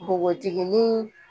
Npogotiginin